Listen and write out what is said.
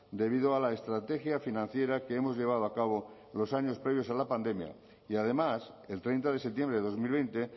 debido a la estrategia financiera que hemos llevado a cabo los años previos a la pandemia y además el treinta de septiembre de dos mil veinte